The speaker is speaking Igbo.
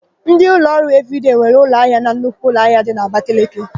Ndị ụlọọrụ Evịrịdei nwere ụlọahịa na nnukwu ụlọahịa dị n'Abakeleke.